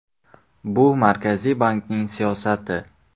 Bu Markaziy bankning siyosati.